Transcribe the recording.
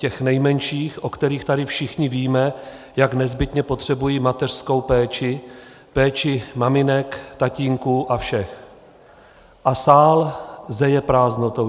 Těch nejmenších, o kterých tady všichni víme, jak nezbytně potřebují mateřskou péči, péči maminek, tatínků a všech - a sál zeje prázdnotou.